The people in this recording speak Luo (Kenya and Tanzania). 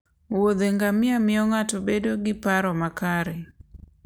wuothe ngamia miyo ng'ato bedo gi paro makare.